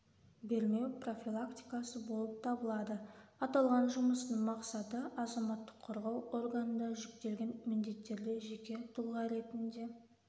бермеу профилактикасы болып табылады аталған жұмыстың мақсаты азаматтық қорғау органында жүктелген міндеттерде жеке тұлға ретінде